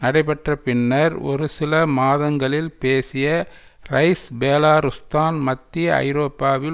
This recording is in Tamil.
நடைப்பெற்ற பின்னர் ஒரு சில மாதங்களில் பேசிய ரைஸ் பேலாருஸ்தான் மத்திய ஐரோப்பாவில்